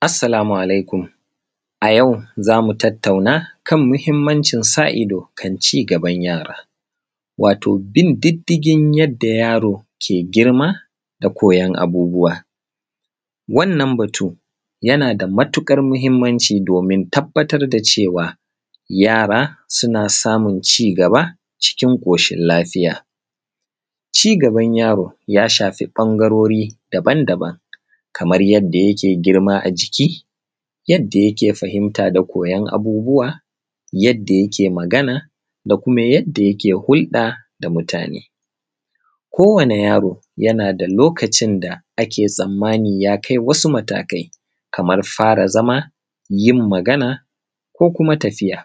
Assalamu Alaikum. A yau za mu tattauna kan muhimmancin sa ido kan ci gaban yara, wato bin diddigin yadda yaro ke girma da koyon abubuwa. Wannan batu yana da matuƙar muhimmanci domin tabbatar da cewa yara suna samun ci gaba cikin ƙoshin lafiya. Ci gaban yaro ya shafi ɓangarori daban-daban kamar yadda yake girma a jiki; yadda yake fahimta da koyon abubuwa; yadda yake magana; da kuma yadda yake hulɗa da mutane. Kowane yaro yana da lokacin da ake tsammani ya kai wasu matakai, kamar fara zama; yin magana; ko kuma tafiya.